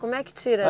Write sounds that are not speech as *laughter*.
Como é que tira *unintelligible*